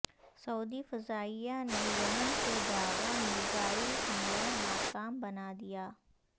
سعودی فضائیہ نے یمن سے داغا میزائل حملہ ناکام بنا دیا